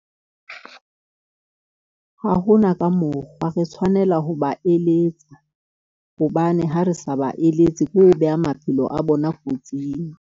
Ha ho na ka mokgwa, re tshwanela ho ba eletsa hobane ha re sa ba eletse, ke ho beha maphelo a bona kotsing.